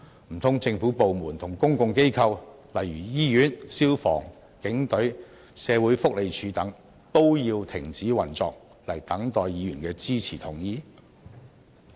難道政府部門和公共機構，例如醫院、消防、警隊、社會福利署等，都要停止運作來等待議員的支持及同意？